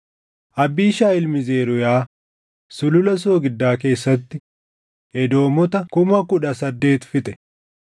Abiishaayi ilmi Zeruuyaa Sulula Soogiddaa keessatti Edoomota kuma kudha saddeet fixe.